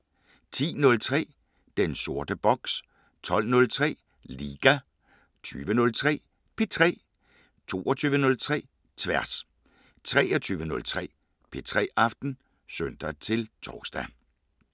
10:03: Den sorte boks 12:03: Liga 20:03: P3 22:03: Tværs 23:03: P3 Aften (søn-tor)